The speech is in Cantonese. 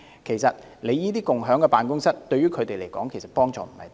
事實上，共享辦公室對於他們的幫助也不是很大。